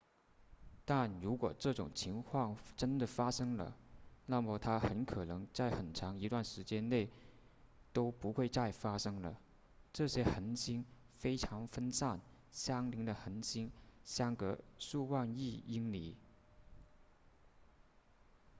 但如果这种情况真的发生了那么它很可能在很长一段时间内都不会再发生了这些恒星非常分散相邻的恒星相隔数万亿英里